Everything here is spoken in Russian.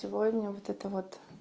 сегодня вот это вот